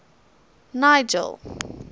nigel